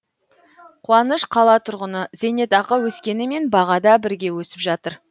қуаныш қала тұрғыны зейнетақы өскенімен баға да бірге өсіп жатыр